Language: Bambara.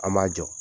An m'a jɔ